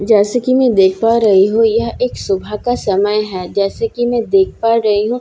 जैसे कि में देख पा रही हूँ यह एक सुबहे का समय है जैसे कि में देख पा रही हूँ --